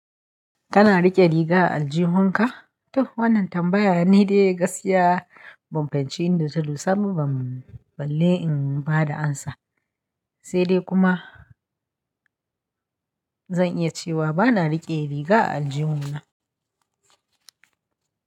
Kana riƙe riga a aljihunka? To wannan tambaya ne dai gaskiya ban fahimci inda ta do saboda ban balle in bada amsa, sai dai kuma zan iya cewa bana riƙe riga a aljihuna.